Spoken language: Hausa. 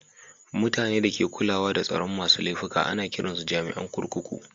Mutani da ke kulawa da tsaron masun laifuka ana kiran su jami'in kurkuku.